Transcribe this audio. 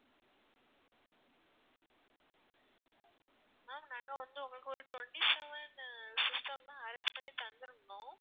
ma'am நாங்க வந்து உங்களுக்கு ஒரு twenty seven system தான் arrange பண்ணி தந்துருந்தோம்